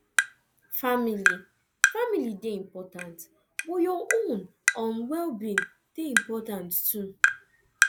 family family dey important but your own um wellbeing dey important too